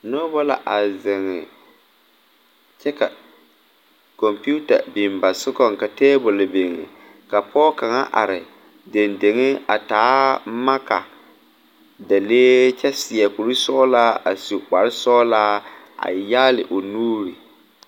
Nobɔ la a zeŋ kyɛ ka kɔmpiuta biŋ ba sugɔŋ ka tabole biŋ ka pɔɔ kaŋa are deŋ deŋe a taa maka delee kyɛ seɛ kurisɔglaa a su kparesɔglaa a yaale o nuure.